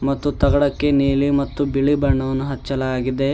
ಮತ್ತು ತಗಡಕ್ಕೆ ನೀಲಿ ಮತ್ತು ಬಿಳಿ ಬಣ್ಣವನ್ನು ಹಚ್ಚಲಾಗಿದೆ.